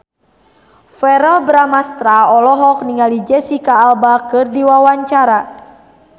Verrell Bramastra olohok ningali Jesicca Alba keur diwawancara